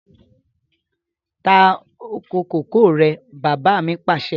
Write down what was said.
Ta oko kòkó rẹ̀! Bàbá mi Pàṣẹ.